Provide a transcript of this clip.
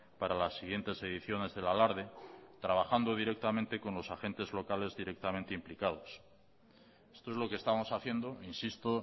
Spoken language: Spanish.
para las siguientes ediciones del alarde trabajando directamente con los agentes locales directamente implicados esto es lo que estamos haciendo insisto